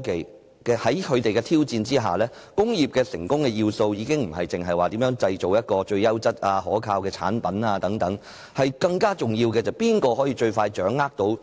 在這些科技的挑戰下，工業成功的要素已非單純在於製造最優質可靠的產品，更重要的是誰可最快掌握